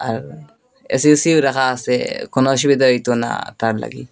আর AC ওসিও রাখা আসে কোনো অসুবিধা হইতো না তার লাগি।